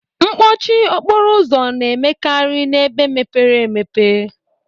Mkpọchi okporo ụzọ na-emekarị n'ebe mepere emepe.